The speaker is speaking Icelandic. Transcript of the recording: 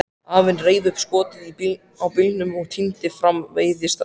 Afinn reif upp skottið á bílnum og tíndi fram veiðistangir.